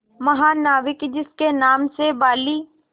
महानाविक जिसके नाम से बाली